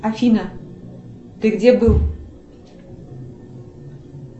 афина ты где был